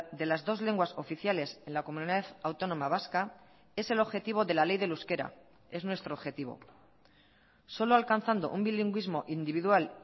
de las dos lenguas oficiales en la comunidad autónoma vasca es el objetivo de la ley del euskera es nuestro objetivo solo alcanzando un bilingüismo individual